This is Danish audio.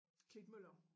Klitmøller